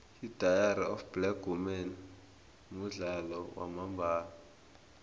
idairy of black women mudlalo wamambala